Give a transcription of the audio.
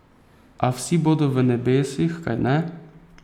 A vsi bodo v nebesih, kajne?